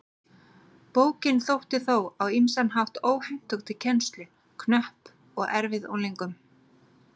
Bókin þótti þó á ýmsan hátt óhentug til kennslu, knöpp og erfið unglingum.